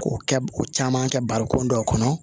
K'o kɛ o caman kɛ barokun dɔw kɔnɔ